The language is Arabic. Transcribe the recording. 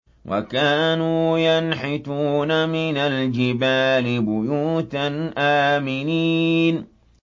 وَكَانُوا يَنْحِتُونَ مِنَ الْجِبَالِ بُيُوتًا آمِنِينَ